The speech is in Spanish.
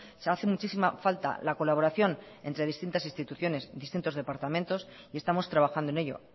se hace muchísima falta la colaboración entre distintas instituciones distintos departamentos y estamos trabajando en ello